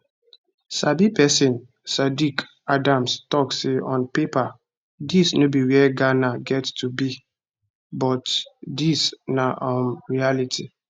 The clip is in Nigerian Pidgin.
sabi pesin saddick adams tok say on paper dis no be wia ghana get to be but dis na um reality